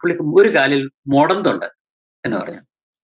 പുള്ളിക്ക് ഒരു കാലില്‍ മൊടന്തുണ്ട് എന്നുപറഞ്ഞു.